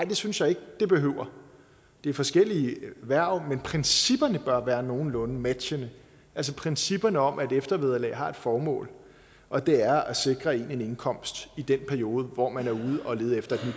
det synes jeg ikke det behøver det er forskellige hverv men principperne bør være nogenlunde matchende altså principperne om at eftervederlag har et formål og det er at sikre en en indkomst i den periode hvor man er ude at lede efter et